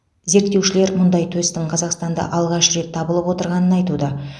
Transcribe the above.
зерттеушілер мұндай төстің қазақстанда алғаш рет табылып отырғанын айтуда